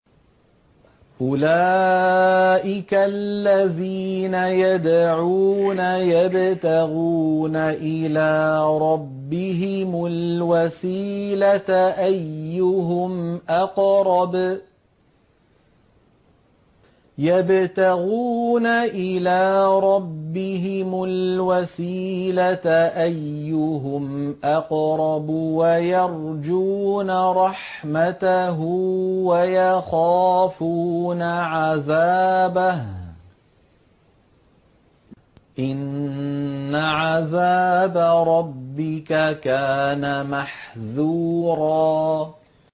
أُولَٰئِكَ الَّذِينَ يَدْعُونَ يَبْتَغُونَ إِلَىٰ رَبِّهِمُ الْوَسِيلَةَ أَيُّهُمْ أَقْرَبُ وَيَرْجُونَ رَحْمَتَهُ وَيَخَافُونَ عَذَابَهُ ۚ إِنَّ عَذَابَ رَبِّكَ كَانَ مَحْذُورًا